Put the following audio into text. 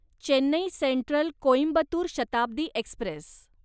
Chennai Central Coimbatore Shatabdi Express